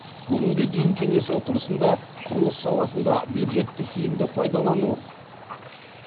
бүгінге дейін кеңес отырысында құрылыс саласында бюджетті тиімді пайдалану